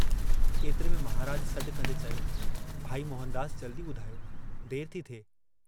ऐतिरे में महराज सडु कंदे चयो, भाई मोहनदास जल्दी बुधायो, देर